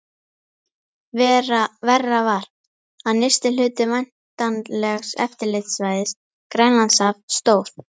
Verra var, að nyrsti hluti væntanlegs eftirlitssvæðis, Grænlandshaf, stóð